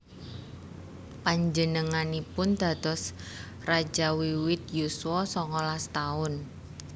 Panjenenganipun dados raja wiwit yuswa songolas taun